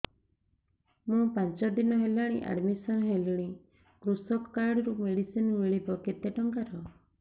ମୁ ପାଞ୍ଚ ଦିନ ହେଲାଣି ଆଡ୍ମିଶନ ହେଲିଣି କୃଷକ କାର୍ଡ ରୁ ମେଡିସିନ ମିଳିବ କେତେ ଟଙ୍କାର